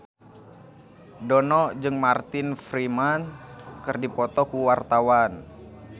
Dono jeung Martin Freeman keur dipoto ku wartawan